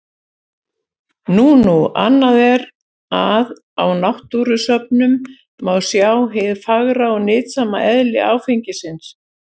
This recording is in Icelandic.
Nú nú, annað er að á náttúrusöfnum má sjá hið fagra og nytsama eðli áfengisins.